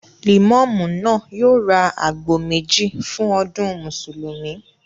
Lẹ̀mọ́mú náà yóò ra àgbò méjì fún ọdún Mùsùlùmí